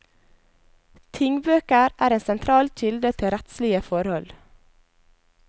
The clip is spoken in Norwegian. Tingbøker er en sentral kilde til rettslige forhold.